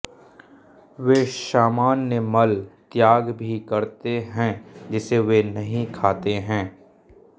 वे सामान्य मल त्याग भी करते हैं जिसे वे नहीं खाते हैं